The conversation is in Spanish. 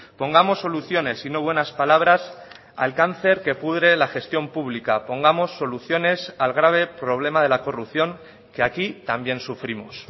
pongamos soluciones y no buenas palabras al cáncer que pudre la gestión pública pongamos soluciones al grave problema de la corrupción que aquí también sufrimos